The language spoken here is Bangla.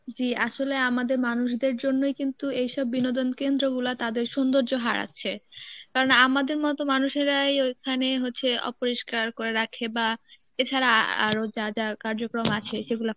জী আসলে আমাদের মানুষদের জন্যই কিন্তু এসব বিনোদন কেন্দ্রগুলা তাদের সৌন্দর্য হারাচ্ছে কারণ আমাদের মত মানুষেরাই ওখানে হচ্ছে অপরিষ্কার করে রাখে বা এছাড়া আ~ আরো যা কার্যক্রম আছে যেগুলা